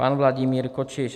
Pan Vladimír Kočiš.